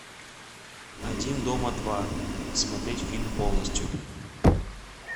один дома два смотреть фильм полностью